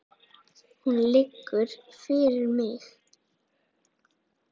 Hún lýgur fyrir mig.